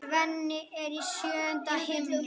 Svenni er í sjöunda himni.